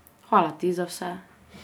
Hvala ti za vse.